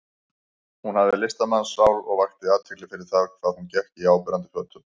Hún hafði listamannssál og vakti athygli fyrir það hvað hún gekk í áberandi fötum.